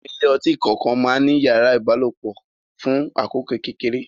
Àwọn ilé ọtí kọ̀ọ̀kan má ń ní yàrá ìbálòpọ̀ fún àkókò kékeré